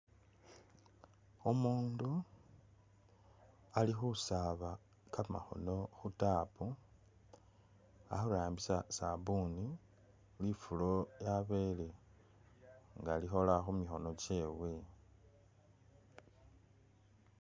Umundu ali khusaaba kamakhoono khutapu ali khurambisa sabuni, lifuulo lyabele nga likhoola khumikhoono chewe